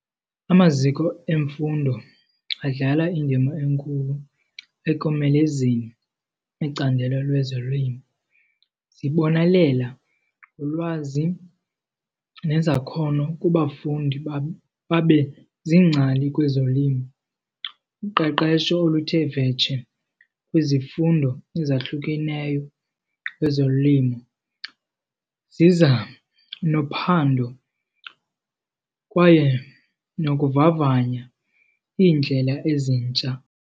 Amaziko emfundo adlala indima enkulu ekomelezeni icandelo lwezolimo. Zibonelela ngolwazi nezakhono kubafundi babe ziingcali kwezolimo. Uqeqesho oluthe vetshe kwizifundo ezahlukeneyo kwezolimo ziza nophando kwaye nokuvavanya iindlela ezintsha.